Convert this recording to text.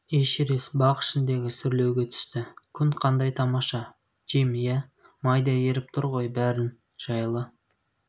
эшерест бақ ішіндегі сүрлеуге түсті күн қандай тамаша джим иә майдай еріп тұр ғой бәрін жайлы